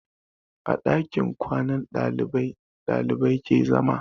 A ɗakin kwanan ɗalibai ɗalibai ke zama.